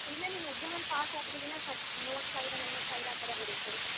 ಇಲ್ಲ ನೀನು exam ಅಲ್ಲಿ pass ಆದ್ರೆ ಮೂವತ್ತು ಸಾವಿರ ನಲ್ವತ್ತು ಸಾವಿರ ಆತರ ಬರುತ್ತೆ.